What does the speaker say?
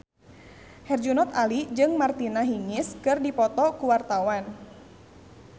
Herjunot Ali jeung Martina Hingis keur dipoto ku wartawan